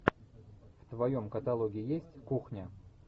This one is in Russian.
в твоем каталоге есть кухня